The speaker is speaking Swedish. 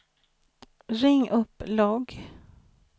ring upp logg